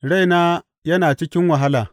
Raina yana cikin wahala.